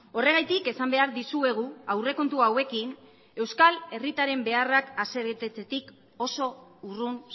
horregatik esan behar dizuegu aurrekontu hauekin euskal herritarren beharrak asebetetzetik oso urrun